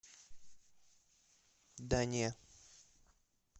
да не